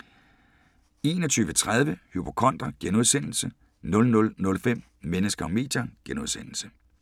21:30: Hypokonder * 00:05: Mennesker og medier *